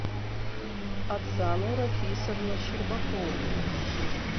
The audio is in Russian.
оксану рафисовну щербакову